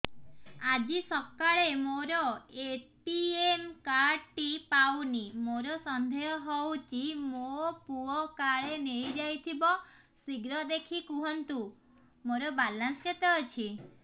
ଆଜି ସକାଳେ ମୋର ଏ.ଟି.ଏମ୍ କାର୍ଡ ଟି ପାଉନି ମୋର ସନ୍ଦେହ ହଉଚି ମୋ ପୁଅ କାଳେ ନେଇଯାଇଥିବ ଶୀଘ୍ର ଦେଖି କୁହନ୍ତୁ ମୋର ବାଲାନ୍ସ କେତେ ଅଛି